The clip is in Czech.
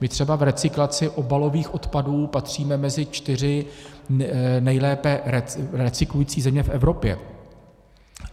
My třeba v recyklaci obalových odpadů patříme mezi čtyři nejlépe recyklující země v Evropě.